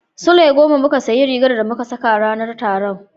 Sule goma muka sayi rigar da muka saka ranar taron.